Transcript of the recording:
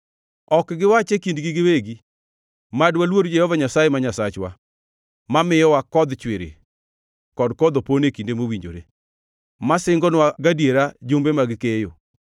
Ok giwach e kindgi giwegi, ‘Mad waluor Jehova Nyasaye ma Nyasachwa, mamiyowa kodh chwiri kod kodh opon e kinde mowinjore, ma singonwa gadiera jumbe mag keyo.’